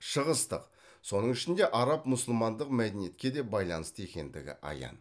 шығыстық соның ішінде араб мұсылмандық мәдениетке де байланысты екендігі аян